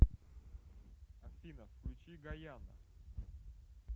афина включи гаяна